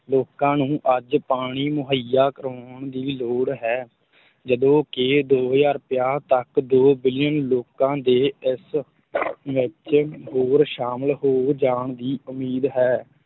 ਲੋਕਾਂ ਨੂੰ ਅੱਜ ਪਾਣੀ ਮੁਹੱਈਆ ਕਰਵਾਉਣ ਦੀ ਲੋੜ ਹੈ, ਜਦੋਂ ਕਿ ਦੋ ਹਜ਼ਾਰ ਪੰਜਾਹ ਤੱਕ ਦੋ ਬਿਲੀਅਨ ਲੋਕਾਂ ਦੇ ਇਸ ਵਿੱਚ ਹੋਰ ਸ਼ਾਮਲ ਹੋ ਜਾਣ ਦੀ ਉਮੀਦ ਹੈ।